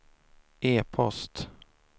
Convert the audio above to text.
e-post